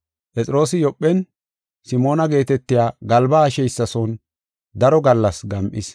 Phexroosi Yoophen Simoona geetetiya galba haasheysa son daro gallas gam7is.